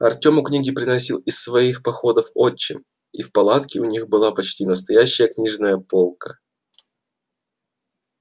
артему книги приносил из своих походов отчим и в палатке у них была почти настоящая книжная полка